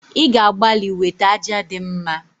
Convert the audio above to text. i ga-agbali wete aja di mma